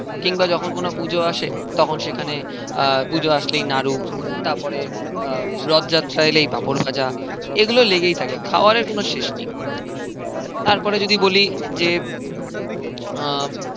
কিংবা যখন কোনো পুজো আসে তখন সেখানে আহ পুজো আসলেই নাড়ু আহ রথ যাত্রা এলেই পাপড় ভাজা এগুলো লেগেই থাকে খাওয়ারের কোনো শেষ নেই তারপরে যদি বলি যে আহ